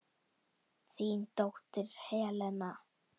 Þín dóttir, Helena.